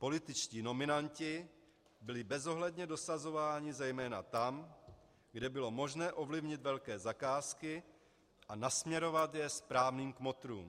Političtí nominanti byli bezohledně dosazováni zejména tam, kde bylo možné ovlivnit velké zakázky a nasměrovat je správným kmotrům.